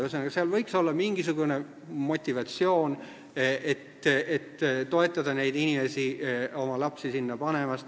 Ühesõnaga, seal võiks olla mingisugune motivatsioon, et toetada neid inimesi oma lapsi sinna panema.